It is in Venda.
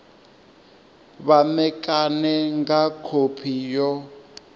vha ṋekane nga khophi yo